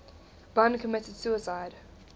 bun committed suicide